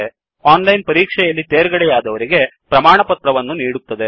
ಓನ್ಲೈನನ್ ಪರೀಕ್ಷೆ ಯಲ್ಲಿ ತೇರ್ಗಡೆಯಾದವರಿಗೆ ಪ್ರಮಾಣವನ್ನು ನೀಡುತ್ತದೆ